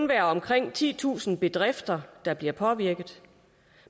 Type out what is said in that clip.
være omkring titusind bedrifter der bliver påvirket